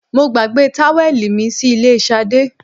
mo gbagbe táwẹ̀lì mi sí ilé Sade